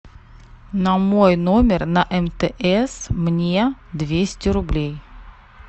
на мой номер на мтс мне двести рублей